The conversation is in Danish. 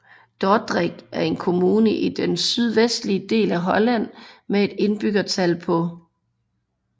Dordrecht er en kommune i den sydvestlige del af Holland med et indbyggertal på